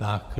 Tak.